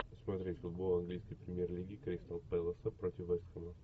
смотреть футбол английской премьер лиги кристал пэласа против вест хэма